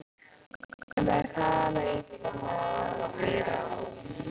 Okkur leið hræðilega illa meðan við vorum að bíða.